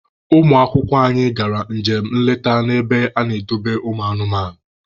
Ụmụ akwụkwọ anyị gara njem nleta na ebe ana-edobe ụmụ anụmanụ.